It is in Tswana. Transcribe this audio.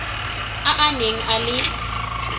a a neng a le